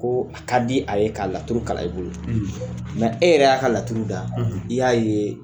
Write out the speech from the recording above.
Ko a ka di a ye ka laturu kala e bolo, nka e yɛrɛ y,'a ka laturu da i y'a ye.